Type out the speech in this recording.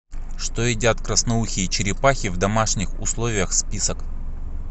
что едят красноухие черепахи в домашних условиях список